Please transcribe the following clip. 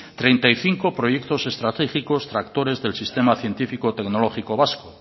treinta y cinco proyectos estratégicos tractores del sistema científico tecnológico vasco